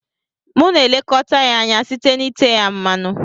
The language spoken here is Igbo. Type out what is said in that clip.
Mụ na elekọta ya anya site na ite ya mmanụ.